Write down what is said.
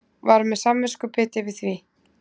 Var með samviskubit yfir því.